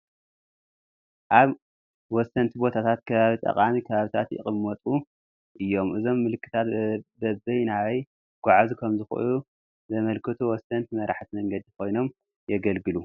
ኣብ ወሰንቲ ቦታታት ከባቢ ጠቋሚ ከባብታት ይቕመጡ እዮም፡፡ እዞም ምልክታት በበይ ናበይ ክጐዓዙ ከምዝኽእሉ ዘመልክቱ ወሰንቲ መራሕቲ መንገዲ ኮይኖም የግልግሉ፡፡